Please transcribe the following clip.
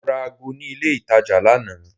Mo ra ago ní ilé itàjà lánàá.